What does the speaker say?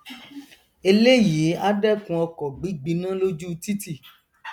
eléyìí á dẹkun ọkọ gbígbiná lójú títì